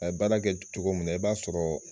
A ye baara kɛ cogo min na, i b'a sɔrɔ